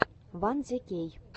ван зе кей